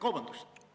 Kolm minutit lisaaega.